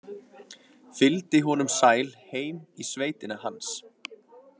Fylgdi honum sæl heim í sveitina hans.